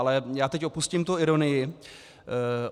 Ale já teď opustím tu ironii.